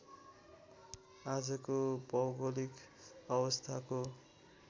आजको भौगोलिक अवस्थाको